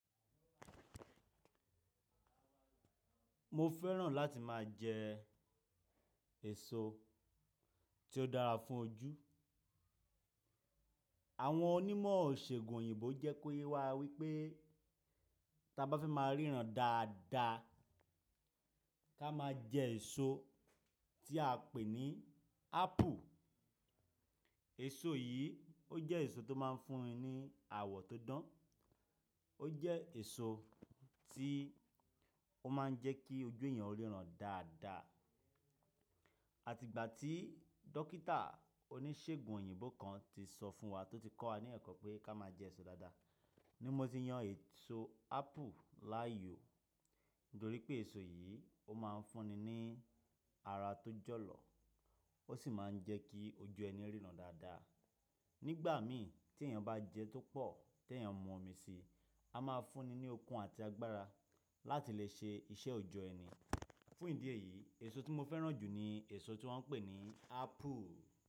Mo fẹ́ràn láti máa jẹ èso tí ó dára fún ojú. Àwọn onímọ̀ òṣègùn òyìnbó jẹ́ kó yé wa wípé ta bá fẹ́ máa ríran dáadáa ká máa jẹ èso tí a pè ní ápple. Èso yìí ó jẹ́ èso tó máa ń fún ni àwọ̀ tó dán, ó jẹ́ èso tí ó máa ń jẹ́ kí ojú ẹyan ó ríran dáadáa. Àti ìgbà tí dókítà oníṣègùn òyìnbó kan ti sọ fún wa tí ó ti kọ́ wa ní ẹ̀kọ́ pé ká máa jẹ èso dáadáa. Ni mo ti yan èso ápù láàyò, nítorí pé èso yìí ó máa ń fún ni ní ara tó jọ̀lọ̀, ó sì máa ń jẹ́ kí ojú ẹni ríran dáadáa. Nígbà mi tí ẹyan bá jẹ tó pọ̀ tí ẹ̀yin mú omi sí, a máa fún ni ní okun àti agbára láti lè ṣe iṣẹ́ òjọ́ ẹni. Fún ìdí èyí, èso tí mo fẹ́ràn jù ni èso tí wọ́n pè ní ápple.